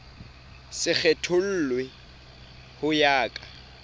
se kgethollwe ho ya ka